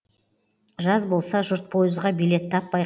жаз болса жұрт пойызға билет таппай